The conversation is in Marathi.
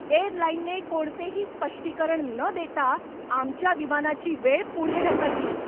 एअरलाइनने कोणतेही स्पष्टीकरण न देता आमच्या विमानाची वेळ पुढे ढकलली.